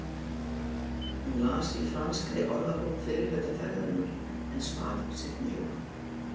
Hún las í franskri orðabók fyrri hluta ferðarinnar en svaf seinni hlutann.